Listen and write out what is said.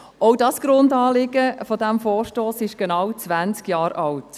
Auch dieses Grundanliegen ist genau zwanzig Jahre alt.